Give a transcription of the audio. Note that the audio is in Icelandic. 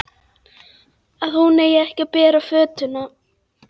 Að hún eigi ekki að bera fötuna.